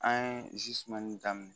An ye zimɛni daminɛ